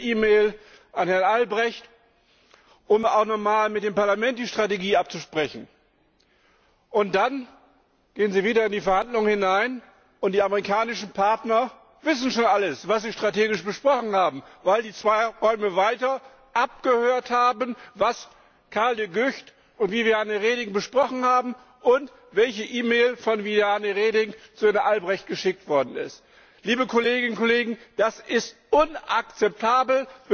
Sie schicken dann eine E Mail an Herrn Albrecht, um auch noch einmal mit dem Parlament die Strategie abzusprechen. Und dann gehen Sie wieder in die Verhandlungen hinein, und die amerikanischen Partner wissen schon alles, was Sie strategisch besprochen haben, weil sie zwei Räume weiter abgehört haben, was Karel De Gucht und Viviane Reding besprochen haben, und sie die E Mail kennen, die von Viviane Reding an Herrn Albrecht geschickt worden ist. Liebe Kolleginnen und Kollegen, das ist inakzeptabel!